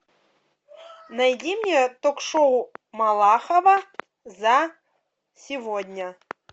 найди мне ток шоу малахова за сегодня